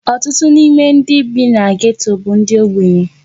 Ọtụtụ n'ime ndị bi na geto bụ ndị ogbenye.